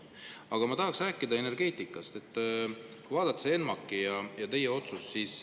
Aga ma tahan rääkida energeetikast, vaadates ENMAK-i ja teie otsust.